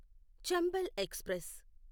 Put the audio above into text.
Chambal express